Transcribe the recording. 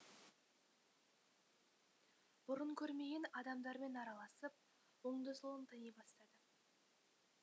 бұрын көрмеген адамдармен араласып оңды солын тани бастады